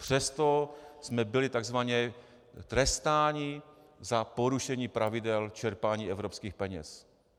Přesto jsme byli tzv. trestáni za porušení pravidel čerpání evropských peněz.